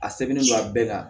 A sɛbɛnnen don a bɛɛ kan